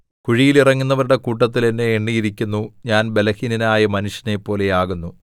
കുഴിയിൽ ഇറങ്ങുന്നവരുടെ കൂട്ടത്തിൽ എന്നെ എണ്ണിയിരിക്കുന്നു ഞാൻ ബലഹീനനായ മനുഷ്യനെപ്പോലെയാകുന്നു